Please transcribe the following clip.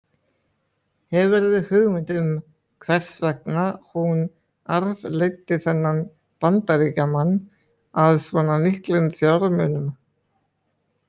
Hefurðu hugmynd um hvers vegna hún arfleiddi þennan Bandaríkjamann að svona miklum fjármunum?